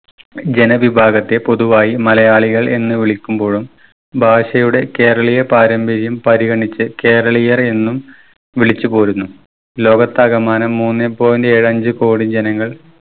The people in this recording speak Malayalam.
ജനവിഭാഗത്തെ പൊതുവായി മലയാളികൾ എന്ന് വിളിക്കുമ്പോഴും ഭാഷയുടെ കേരളീയ പാരമ്പര്യം പരിഗണിച്ച് കേരളീയർ എന്നും വിളിച്ചു പോരുന്നു. ലോകത്താകമാനം മൂന്നേ point ഏഴ് അഞ്ചു കോടി ജനങ്ങൾ